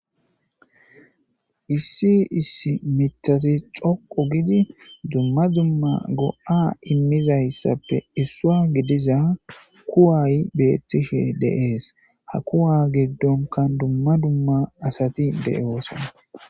Issi issi mitati xoqo gidi dumma dumma go7a immizayssappe issua gidiza kuwaay beetife deees ha kuwa giddonka dumma dumma asati de'eoosona.